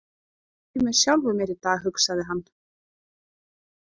Ég er ekki með sjálfum mér í dag, hugsaði hann.